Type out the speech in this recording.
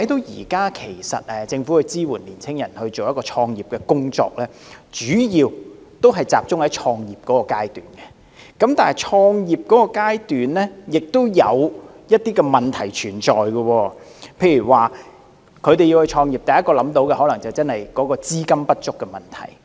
現時政府支援青年人創業的工作，主要集中在創業階段，而創業階段確有一些問題存在，例如創業遇到的第一問題可能是資金不足。